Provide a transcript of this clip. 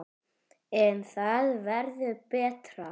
En það verður betra.